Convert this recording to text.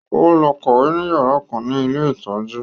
Ó lọ kàwé ní yàrá kan ní ilé ìtọ́jú